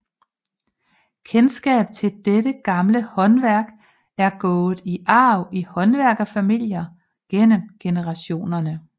Kendskabet til dette gamle håndværk er gået i arv i håndværkerfamilier gennem generationerne